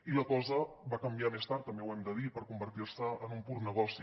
i la cosa va canviar més tard també ho hem de dir per convertir se en un pur negoci